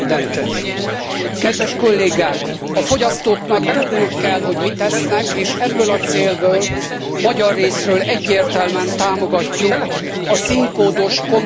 A fogyasztóknak tudniuk kell, hogy mit esznek, és ebből a célból magyar részről egyértelműen támogatjuk a színkódos kombinált jelölésű hibrid rendszert.